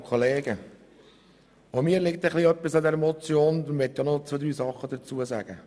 Darum möchte ich auch noch zwei, drei Dinge dazu sagen.